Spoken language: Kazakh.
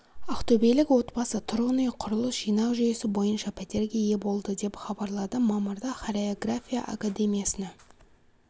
ақтөбелік отбасы тұрғын үй құрылыс жинақ жүйесі бойынша пәтерге ие болды деп хабарлады мамырда хореография академиясына